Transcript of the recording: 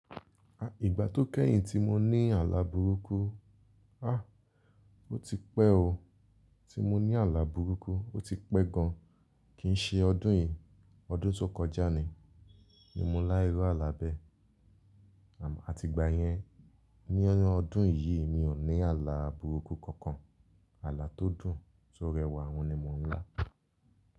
À, ìgbà tó kẹ́yìn tí mo ní àlà burúkú, ah ó ti pẹ́ o. Tí mo ní àlà burúkú, ó ti pẹ́ gan. Kì ń ṣe ọdún yìí, ọdún tó kọjá ni, ni mo lá irú àlà bẹ́. Àti ìgbà yẹn, ní ọdún yìí mi ò ní àlà burúkú kankan. Àlà tó dùn tó rẹwà wọ́n ni mo ń lá.